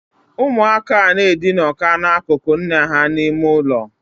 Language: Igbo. Umu aka n edinoka n’akükü nne ha n' ime ulo